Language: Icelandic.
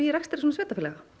rekstri svona sveitarfélaga